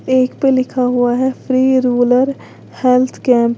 एक पे लिखा हुआ है फ्री रूरल हेल्थ कैंप ।